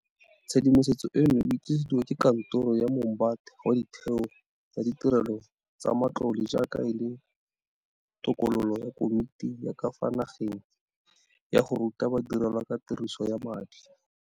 Tshedimosetso eno o e tlisediwa ke Kantoro ya Moombate wa Ditheo tsa Ditirelo tsa Matlole jaaka e le tokololo ya Komiti ya ka fa Nageng ya go Ruta Ba direlwa ka Tiriso ya Madi.